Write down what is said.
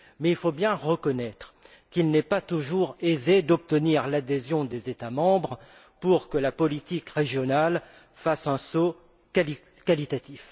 Mais il faut bien reconnaître qu'il n'est pas toujours aisé d'obtenir l'adhésion nécessaire des États membres pour que la politique régionale fasse un saut qualitatif.